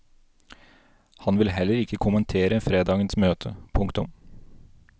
Han vil heller ikke kommentere fredagens møte. punktum